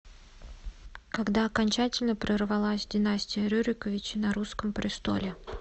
когда окончательно прервалась династия рюриковичей на русском престоле